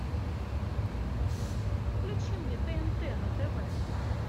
включи мне тнт на тв